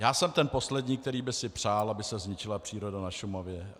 Já jsem ten poslední, který by si přál, aby se zničila příroda na Šumavě.